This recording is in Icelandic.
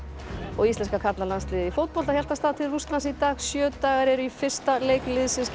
íslenska karlalandsliðið í fótbolta hélt af stað til Rússlands í dag sjö dagar eru í fyrsta leik liðsins gegn